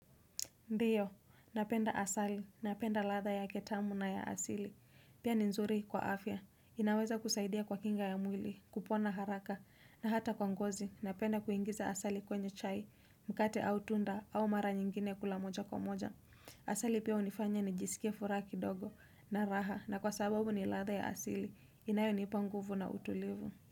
Ndiyo, napenda asali, napenda ladha yake tamu na ya asili. Pia ni nzuri kwa afya, inaweza kusaidia kwa kinga ya mwili, kupona haraka, na hata kwa ngozi, napenda kuingiza asali kwenye chai, mkate au tunda, au mara nyingine kula moja kwa moja. Asali pia hunifanya nijisikie furaha kidogo na raha, na kwa sababu ni ladha ya asili, inayonipa nguvu na utulivu.